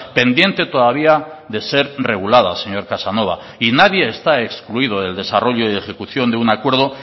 pendiente todavía de ser regulada señor casanova y nadie está excluido del desarrollo y ejecución de un acuerdo